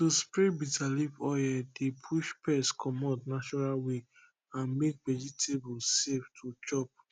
to spray bitter leaf oil dey push pest commot natural way and make vegetable safe to chop